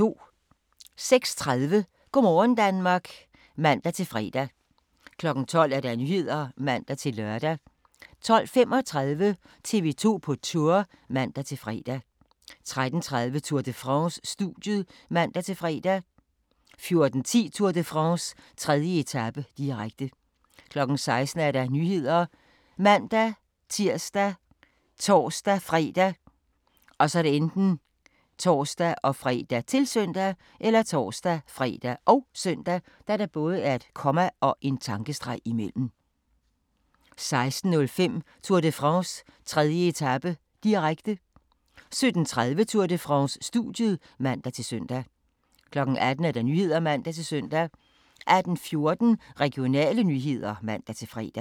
06:30: Go' morgen Danmark (man-fre) 12:00: Nyhederne (man-lør) 12:35: TV 2 på Tour (man-fre) 13:30: Tour de France: Studiet (man-fre) 14:10: Tour de France: 3. etape, direkte 16:00: Nyhederne ( man-tir, tor-fre, -søn) 16:05: Tour de France: 3. etape, direkte 17:30: Tour de France: Studiet (man-søn) 18:00: Nyhederne (man-søn) 18:14: Regionale nyheder (man-fre)